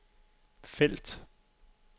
felt